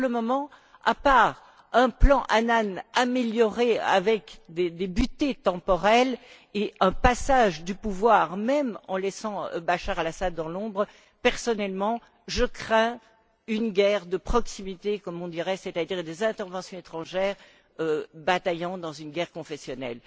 Pour le moment, en dehors d'un plan Annan amélioré avec des butées temporelles et un passage du pouvoir, même en laissant Bachar el Assad dans l'ombre, personnellement je crains une guerre de proximité, comme on dirait, c'est à dire des interventions étrangères bataillant dans une guerre confessionnelle.